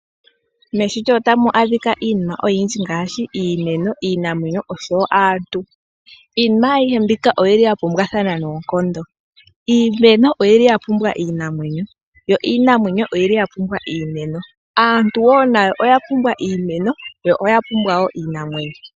Meshito ota mu adhika iinima oyindji ngaashi iimeno, iinamwenyo osho wo aantu. Iinima ayihe mbika oyili ya pumbwathana noonkondo. Iimeno oyili ya pumbwa iinamwenyo yo iinamwenyo oya pumbwa iimeno. Aantu nayo wo oya pumbwa iimeno yo oya pumbwa wo iinamwenyo.